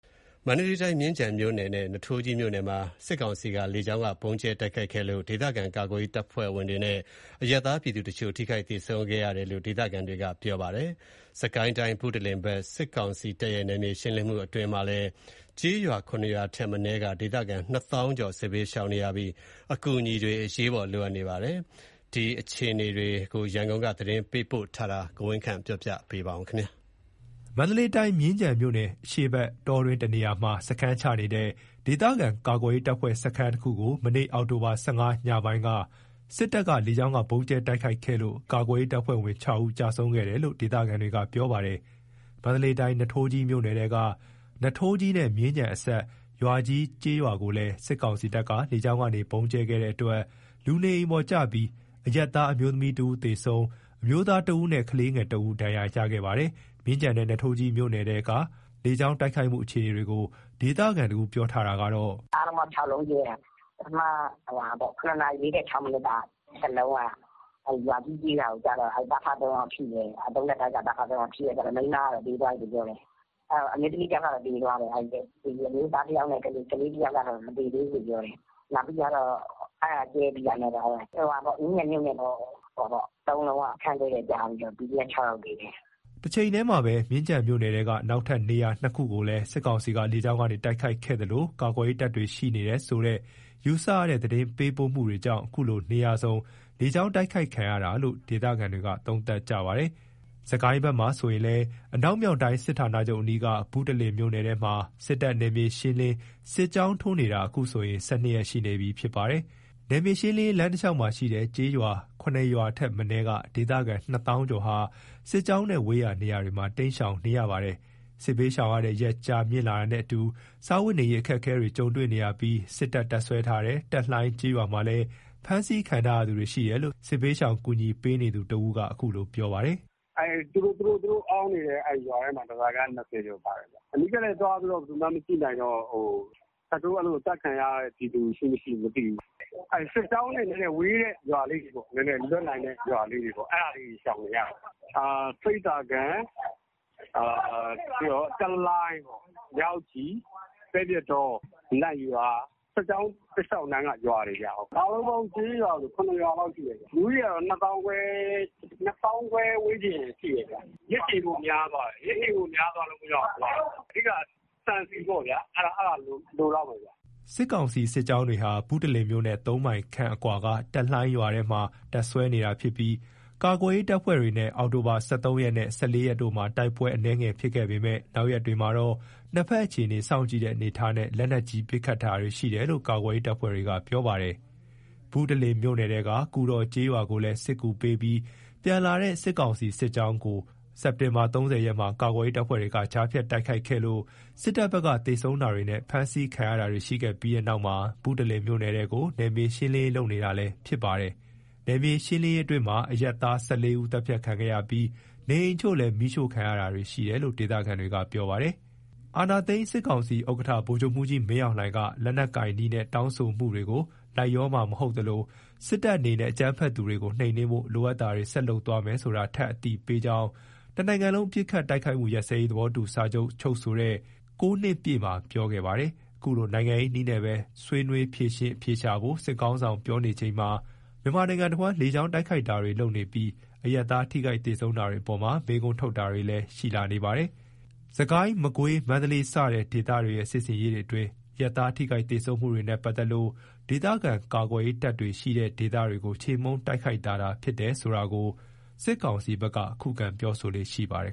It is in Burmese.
မန္တလေးတိုင်း မြင်းခြံမြို့နယ်နဲ့နွားထိုးကြီးမြို့နယ်မှာ စစ်ကောင်စီ လေကြောင်းက ဗုံးကြဲတိုက်ခိုက်လို့ ဒေသခံကာကွယ်ရေးတပ်ဖွဲ့ဝင်တွေနဲ့ အရပ်သားပြည်သူတချို့ ထိခိုက်သေဆုံးခဲ့တယ်လို့ ဒေသခံတွေကဗွီအိုအေကို ပြောပါတယ်။ စစ်ကိုင်းတိုင်း ဘုတလင်ဘက် စစ်ကောင်စီတပ်ရဲ့ နယ်မြေရှင်းလင်းမှုအတွင်း ကျေးရွာ ၇ ရွာထက်မနည်းက ဒေသခံ ၂ သောင်းကျော် စစ်ဘေးရှောင်နေရပြီး အကူအညီတွေ အရေးပေါ်လိုအပ်နေပါတယ်။ မန္တလေးတိုင်းနဲ့ စစ်ကိုင်းတိုင်းထဲက စစ်ရေးပဋိပက္ခတွေနဲ့ စစ်ဘေးရှောင်အခြေအနေ ရန်ကုန်က သတင်းပေးပို့ ထားတာကို တင်ပြထားပါတယ်။ မန္တလေးတိုင်း မြင်းခြံမြို့နယ် အရှေ့ဘက် တောတွင်းတနေရာမှာ စခန်းချနေတဲ့ ဒေသခံကာကွယ်ရေး တပ်ဖွဲ့ စခန်းတခုကို မနေ့ အောက်တိုဘာ ၁၅ ရက် ညပိုင်းက စစ်တပ်က လေကြောင်းကနေ ဗုံးကြဲတိုက်ခိုက်ခဲ့လို့ ကာကွယ်ရေး တပ်ဖွဲ့ဝင် ၆ ဦး ကျဆုံးခဲ့တယ်လို့ ဒေသခံတွေက ပြောပါတယ်။ မန္တလေးတိုင်း နွားထိုးကြီးမြို့နယ်ထဲက နွားထိုးကြီးနဲ့မြင်းခြံအစပ်က ရွာကြီးကျေးရွာကိုလည်း စစ်ကောင်စီတပ်က လေကြောင်းကနေ ဗုံးကြဲတိုက်ခိုက်လို့ လူ နေအိမ်ပေါ်ကျပြီး အရပ်သား အမျိုးသမီး ၁ ဦးသေဆုံးပြီး အမျိုးသား ၁ ဦးနဲ့ ကလေးငယ် ၁ ဦး ဒဏ်ရာ ရရှိခဲ့ပါတယ်။ မြင်းခြံနဲ့ နွားထိုးကြီးမြို့နယ်ထဲက လေကြောင်းတိုက်ခိုက်မှု အခြေအနေတွေကို ဒေသခံတဦးက ပြောတာကတော့- "အားလုံးပေါင်း ၆ လုံးကြဲတာ။ ပထမ၇ နာရီ ၄၆ မိနစ်တလုံးကရွာကြီးကျေးရွာကိုကျတော့ သားအဖ ၃ ယောက်ထိတယ်။ ၃ ထပ်တိုက်က သားအဖ ၃ ယောက်ထိတယ်။ မိန်းမက သေသွားတယ်။ အမျိုးသား ၁ ယောက်နဲ့ ကလေး ၁ ယောက်ကတော့ မ သေသေးဘူး။ အဲ့ဒါကြဲပြီးတော့ နောက် ၃ လုံးက မြင်းခြံမြို့နယ်ထဲက စခန်းတည့်တည့်ကျပြီးတော့ PDF ၆ ယောက်သေတယ်။" တချိန်တည်းမှာပဲ မြင်းခြံမြို့နယ်ထဲက နောက်ထပ် နေရာ ၂ ခုကိုလည်း စစ်ကောင်စီက လေကြောင်းတိုက်ခိုက်ခဲ့သလို ကာကွယ်ရေးတပ်တွေ ရှိနေတယ်ဆိုတဲ့ယူဆရတဲ့ သတင်းပေးပို့မှုကြောင့် အခုလို နေရာစုံ လေကြောင်းတိုက်ခိုက်ခံရတာလို့ ဒေသခံတွေက သုံးသပ်ကြပါတယ်။ စစ်ကိုင်းတိုင်းဘက်မှာဆိုရင်လည်း အနောက်မြောက်တိုင်း စစ်ဌာနချုပ်အနီးက ဘုတလင်မြို့နယ်ထဲမှာ စစ်တပ်က နယ်မြေရှင်းလင်း စစ်ကြောင်းထိုးနေတာ အခုဆို ၁၂ ရက် ရှိနေပြီဖြစ်ပါတယ်။ နယ်မြေရှင်းလင်းရေး လမ်းတလျှောက်မှာရှိတဲ့ ကျေးရွာ ၇ ရွာထက်မနည်းက ဒေသခံ ၂ သောင်းကျော်ဟာ စစ်ကြောင်းနဲ့ဝေးရာနေရာတွေမှာ တိမ်းရှောင်နေရပါတယ်။ စစ်ဘေးရှောင်ရတဲ့ ရက်ကြာမြင့်လာတာနဲ့အတူ စားဝတ်နေရေး အခက်အခဲတွေကြုံတွေ့နေရပြီး စစ်တပ် တပ်စွဲထားတဲ့ တက်လှိုင်းကျေးရွာမှာလည်း ဖမ်းဆီးခံထားရသူတွေရှိတယ်လို့ စစ်ဘေးရှောင်ကူညီပေးနေသူ တဦးက အခုလို ပြောပါတယ်။ "သူတို့အောင်းနေတဲ့ရွာထဲမှာပဲ ဓားစာခံက ၂၀ ကျော်ပါတယ်။ အနီးကပ်လည်း ဘယ်သူမှသွားပြီးမကြည့်နိုင်တော့ သတ်ခံရတဲ့ ပြည်သူ ရှိမရှိမသိဘူးခင်ဗျ။ စစ်ကြောင်းတွေနဲ့ ဝေးတဲ့နေရာလေးတွေပေါ့ လွတ်တဲ့ရွာလေးတွေပေါ့ အဲ့နေရာတွေမှာ ရှောင်နေကြတယ်။ ဆိပ်သာကန် တက်လှိုင်း မြောက်ကြည် ပဲပြစ်တော နတ်ရွာ စစ်ကြောင်းတလျှောက်က ရွာတွေပေါ့။ အားလုံးပေါင်း ကျေးရွာဆို ၇ ရွာလောက်ရှိမယ်ခင်ဗျ။ လူဦးရေက ၂ သောင်းခွဲဝန်းကျင်ရှိမယ်။ ရက်ရှည်တာများသွားတော့ အဓိက ကတော့ ဆန်ဆီပေါ့ဗျာ။ အဲ့ဒါလိုမယ်။" စစ်ကောင်စီစစ်ကြောင်းတွေဟာ ဘုတလင်မြို့နဲ့ ၃ မိုင်ခန့်အကွာက တက်လှိုင်းရွာထဲမှာ တပ်စွဲနေတာဖြစ်ပြီး ကာကွယ်ရေးတပ်ဖွဲ့တွေနဲ့ အောက်တိုဘာ ၁၃ ရက်နဲ့ ၁၄ ရက်တို့မှာ တိုက်ပွဲအနည်းငယ် ဖြစ်ခဲ့ပေမယ့် နောက်ရက်တွေမှာတော့ ၂ ဘက်အခြေအနေ စောင့်ကြည့်တဲ့အနေအထားနဲ့ လက်နက်ကြီး ပစ်ခတ်တာတွေရှိတယ်လို့ ကာကွယ်ရေး တပ်ဖွဲ့တွေက ပြောပါတယ်။ ဘုတလင်မြို့နယ်ထဲက ကူတော်ကျေးရွာကို စစ်ကူပေးပြီး ပြန်လာတဲ့ စစ်ကောင်စီစစ်ကြောင်းကို စက်တင်ဘာ ၃၀ ရက်မှာ ကာကွယ်ရေး တပ်ဖွဲ့တွေက ကြားဖြတ်တိုက်ခိုက်ခဲ့ပြီး စစ်တပ်ဘက်က သေဆုံးတာတွေနဲ့ ဖမ်းဆီးခံရတာတွေရှိခဲ့ပြီးတဲ့နောက်မှာ ဘုတလင်မြို့နယ်ထဲကို နယ်မြေရှင်းလင်းရေးလုပ်နေတာလည်းဖြစ်ပါတယ်။ နယ်မြေရှင်းလင်းရေးအတွင်း အရပ်သား ၁၄ ဦးလည်း သတ်ဖြတ်ခံခဲ့ရပြီး နေအိမ်အချို့လည်း မီးရှို့ခံရတာရှိတယ်လို့ ဒေသခံတွေက ပြောပါတယ်။ အာဏာသိမ်း စစ်ခေါင်းဆောင် ဗိုလ်ချုပ်မှူးကြီး မင်းအောင်လှိုင်က လက်နက်ကိုင် နည်းနဲ့ တောင်းဆိုမှုတွေကို လိုက်လျောမှာ မဟုတ်သလို၊ စစ်တပ်အနေနဲ့ အကြမ်းဖက်သူတွေကို နှိမ်နင်းဖို့ လိုအပ်တာတွေ ဆက်လုပ်သွားမယ်ဆိုတာ ထပ်အသိပေးကြောင်း တနိုင်ငံလုံး ပစ်ခတ်တိုက်ခိုက်မှု ရပ်စဲရေး သဘောတူ စာချုပ် ချုပ်ဆိုတဲ့ ၉ နှစ်ပြည့်တဲ့နေ့မှာ ပြောခဲ့ပါတယ်။ အခုလို နိုင်ငံရေး နည်းနဲ့ပဲ ဆွေးနွေးဖြေရှင်းအဖြေရှာဖို့ စစ်ခေါင်းဆောင်ပြောဆိုနေချိန် မြန်မာနိုင်ငံတဝန်း လေကြောင်းတိုက်ခိုက်တာတွေလုပ်ပြီး အရပ်သားတွေ သေဆုံးထိခိုက်ဒဏ်ရာရတာတွေအပေါ်မှာ မေးခွန်းထုတ်တာတွေလည်း ရှိနေပါတယ်။ စစ်ကိုင်း မကွေး မန္တလေးစတဲ့ဒေသတွေရဲ့ စစ်ဆင်ရေးတွေအတွင်း အရပ်သားထိခိုက်သေဆုံးမှုတွေနဲ့ပတ်သက်လို့ ဒေသခံကာကွယ်ရေးတပ်တွေရှိတဲ့ဒေသတွေကို ချေမှုန်းတိုက်ခိုက်တာသာဖြစ်တယ်ဆိုတာကို စစ်ကောင်စီဘက် ခုခံပြောဆိုလေ့ရှိပါတယ်